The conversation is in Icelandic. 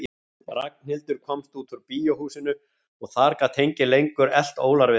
Ragnhildur komst út úr bíóhúsinu og þar gat enginn lengur elt ólar við hana.